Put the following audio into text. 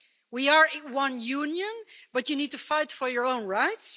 We are one Union but you need to fight for your own rights?